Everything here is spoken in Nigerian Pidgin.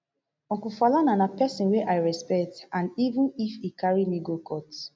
uncle falana na pesin wey i respect and even if e carry me go court